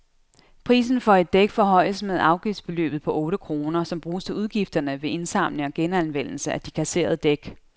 Prisen for et dæk forhøjes med afgiftsbeløbet på otte kroner, som bruges til udgifterne ved indsamling og genanvendelse af de kasserede dæk.